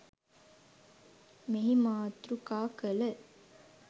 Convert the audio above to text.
මෙහි මාතෘකා කළ